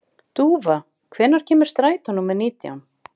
Dúfa, hvenær kemur strætó númer nítján?